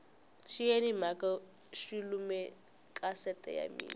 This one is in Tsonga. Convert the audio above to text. xiyeni maya xi lume kasete ya mina